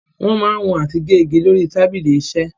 Wọ́n ma ń wọn àti gé igi ni orí tábìlì iṣẹ́.